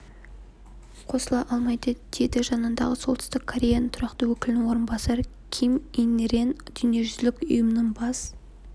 қосыла алмайды деді жанындағы солтүстік кореяның тұрақты өкілінің орынбасары ким ин рен дүниежүзілік ұйымның бас